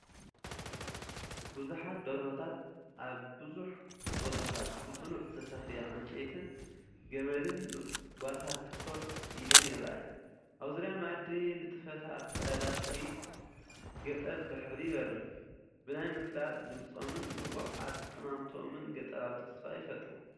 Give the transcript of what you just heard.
ብዙሓት ደርሆታት ኣብ ብዙሕ ቦታታት ብጽኑዕ ዝተሰፍየ ዕንጨይትን ገመድን ጓጓታት ኮፍ ኢለን ይረኣያ። ኣብ ዙርያ መኣዲ ንጥፈታት ዕዳጋ ጥሪት ገጠር ብሕብሪ ይበርህ፤ ብናይ ምፍላጥ ድምጾምን ንቑሕ ኣጠማምታኦምን ገጠራዊ ተስፋ ይፈጥሩ።